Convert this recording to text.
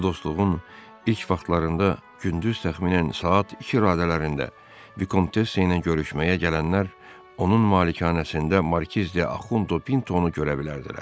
Bu dostluğun ilk vaxtlarında gündüz təxminən saat iki radələrində Vikontessa ilə görüşməyə gələnlər onun malikanəsində Markiz de Ahudo Pintoni görə bilərdilər.